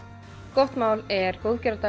gott mál er